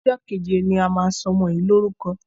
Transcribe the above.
Ọjọ́ ni a máa sọ ọmọ yìí lórúkọ.